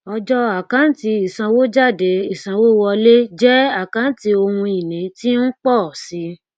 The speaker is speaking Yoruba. ọjọ àkántì isanwójádé ìsanwówọléjẹ àkáǹtí ohun ìní tí ń pọ sí